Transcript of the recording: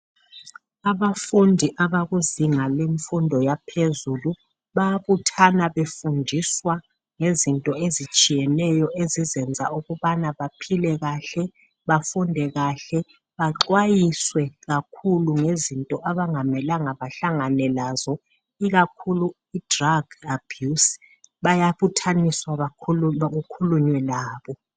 Abafundi abakuzinga lemfundo yaphezulu, bayabuthana befundiswa ngezinto ezitshiyeneyo ezizenza ukubana baphile kahle, bafunde kahle, baxwayiswe kakhulu ngezinto abangamelanga bahlangane lazo, ikakhulu idrug abuse. Bayabuthaniswa bakhu kukhulunywe labo.